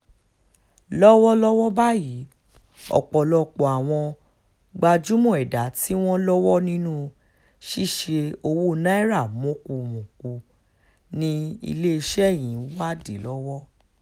lọ́wọ́lọ́wọ́ báyìí ọ̀pọ̀lọpọ̀ àwọn gbajúmọ̀ ẹ̀dà tí wọ́n lọ́wọ́ nínú ṣíṣe owó naira mọ̀kùmọ̀kù ni iléeṣẹ́ yìí ń wádìí lọ́wọ́